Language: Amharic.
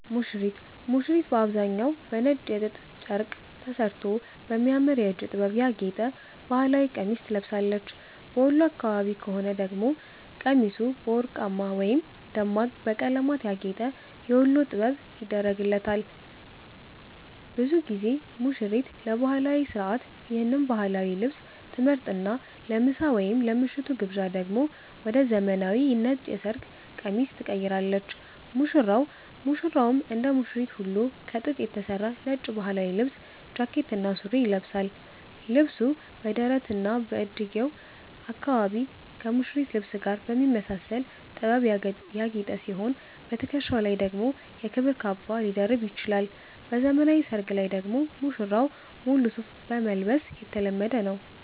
ሙሽሪት፦ ሙሽሪት በአብዛኛው በነጭ የጥጥ ጨርቅ ተሠርቶ በሚያምር የእጅ ጥበብ ያጌጠ ባህላዊ ቀሚስ ትለብሳለች። በወሎ አካባቢ ከሆነ ደግሞ ቀሚሱ በወርቅማ ወይም ደማቅ በቀለማት ያጌጠ "የወሎ ጥበብ" ይደረግላታል። ብዙ ጊዜ ሙሽሪት ለባህላዊው ሥርዓት ይህን ባህላዊ ልብስ ትመርጥና፣ ለምሳ ወይም ለምሽቱ ግብዣ ደግሞ ወደ ዘመናዊው ነጭ የሰርግ ቀሚስ ትቀይራለች። ሙሽራው፦ ሙሽራውም እንደ ሙሽሪት ሁሉ ከጥጥ የተሠራ ነጭ ባህላዊ ልብስ (ጃኬትና ሱሪ) ይለብሳል። ልብሱ በደረትና በእጅጌው አካባቢ ከሙሽሪት ልብስ ጋር በሚመሳሰል ጥበብ ያጌጠ ሲሆን፣ በትከሻው ላይ ደግሞ የክብር ካባ ሊደርብ ይችላል። በዘመናዊ ሰርግ ላይ ደግሞ ሙሽራው ሙሉ ሱፍ መልበስ የተለመደ ነው።